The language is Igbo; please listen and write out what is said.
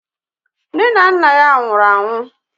Nne na nna ya nwụrụ anwụ.